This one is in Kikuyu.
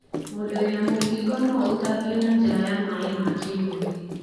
Mũndu wĩna mũkingo no aũtambie na njira ya maĩ ma kĩmwĩrĩ.